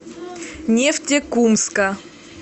нефтекумска